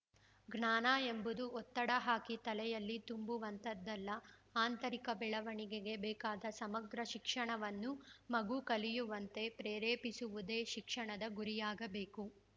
ಜ್ಞಾನ ಎಂಬುದು ಒತ್ತಡ ಹಾಕಿ ತಲೆಯಲ್ಲಿ ತುಂಬುವಂಥದಲ್ಲ ಆಂತರಿಕ ಬೆಳವಣಿಗೆಗೆ ಬೇಕಾದ ಸಮಗ್ರ ಶಿಕ್ಷಣವನ್ನು ಮಗು ಕಲಿಯುವಂತೆ ಪ್ರೇರೇಪಿಸುವುದೇ ಶಿಕ್ಷಣದ ಗುರಿಯಾಗಬೇಕು